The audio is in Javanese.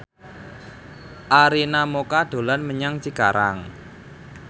Arina Mocca dolan menyang Cikarang